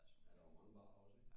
Ja der var mange barer også ik